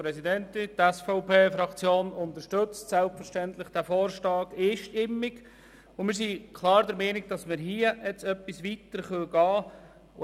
Die SVP-Fraktion unterstützt diesen Vorstoss selbstverständlich einstimmig, und wir sind klar der Meinung, hier können wir etwas weitergehen.